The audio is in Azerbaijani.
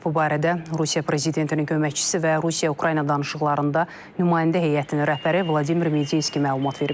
Bu barədə Rusiya prezidentinin köməkçisi və Rusiya-Ukrayna danışıqlarında nümayəndə heyətinin rəhbəri Vladimir Medinski məlumat verib.